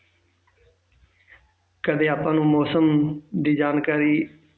ਕਦੇ ਆਪਾਂ ਨੂੰ ਮੌਸਮ ਦੀ ਜਾਣਕਾਰੀ